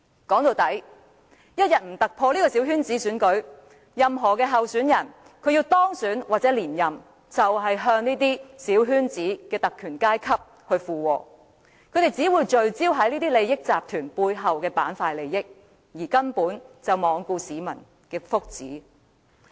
說到底，我們一天未突破小圈子選舉，任何候選人希望當選或連任，都只會附和小圈子中的特權階級，他們只會聚焦於這些利益集團背後的利益板塊，根本罔顧市民的福祉。